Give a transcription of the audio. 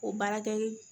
O baarakɛli